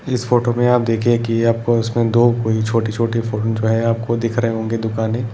इस फोटो में आप देखिए कि आपको इसमें दो कोई छोटी-छोटी जो है। आपको दिख रहे होंगे दुकाने --